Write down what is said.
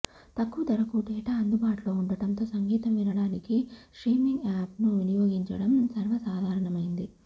తక్కువ ధరకు డేటా అందుబాటులో ఉండటంతో సంగీతం వినడానికి స్ట్రీమింగ్ యాప్ ను వినియోగించడం సర్వసాధారణమైంది